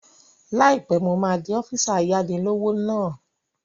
Láìpẹ́, mo máa di ọ́físà ayáni-lówó náà